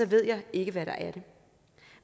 ved jeg ikke hvad der er det